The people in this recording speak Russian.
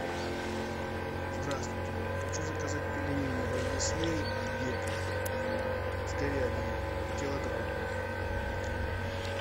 здравствуйте хочу заказать пельмени развесные век с говядиной килограмм